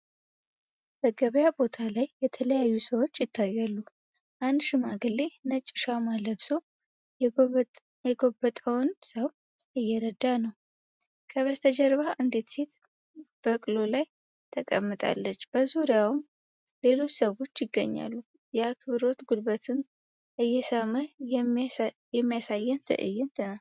በገበያ ቦታ ላይ የተለያዩ ሰዎች ይታያሉ። አንድ ሽማግሌ ነጭ ሻማ ለብሶ የጎበጠውን ሰው እየረዳ ነው። ከበስተጀርባ አንዲት ሴት በቅሎ ላይ ተቀምጣለች፤ በዙሪያውም ሌሎች ሰዎች ይገኛሉ። የአክብሮት ጉልበትን እየሳመ የሚያሳየን ትዕይንት ነው።